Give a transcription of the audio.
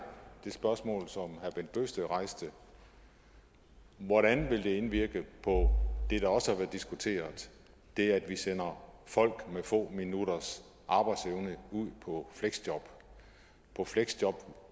det spørgsmål som herre bent bøgsted rejste hvordan vil det indvirke på det der også har været diskuteret det at vi sender folk med få minutters arbejdsevne ud på fleksjob på fleksjob